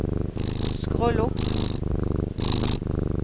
skroll opp